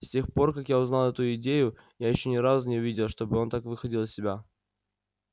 с тех пор как я узнал эту идею я ещё ни разу не видел чтобы он так выходил из себя